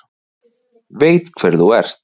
Veit hver þú ert.